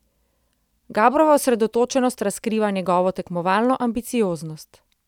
Gabrova osredotočenost razkriva njegovo tekmovalno ambicioznost.